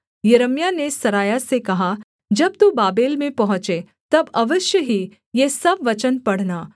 यिर्मयाह ने सरायाह से कहा जब तू बाबेल में पहुँचे तब अवश्य ही ये सब वचन पढ़ना